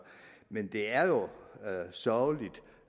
men det er jo sørgeligt